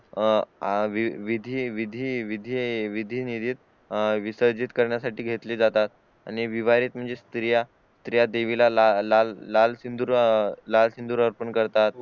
विधी विसरजीत करण्यासाठी घेतले जातात आणि विवाहित म्हणजे स्त्रिया द्विला लाल लाल सिंधूर अह अर्पण करतात